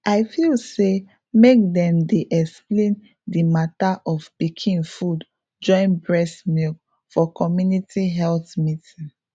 i feel say make them dey explain the matter of pikin food join breast milk for community health meeting